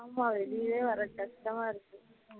ஆமா வெளியே வர கஷ்டமா இருக்கு